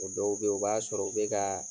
O dɔw be ye, u b'a sɔrɔ u be kaa